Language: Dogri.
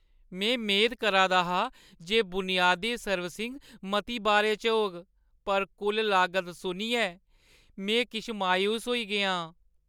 में मेद करा दा हा जे बुनियादी सर्विसिंग मती बारे च होग, पर कुल लागत सुनियै में किश मायूस होई गेआ आं।